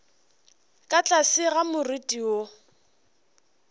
ka tlase ga more wo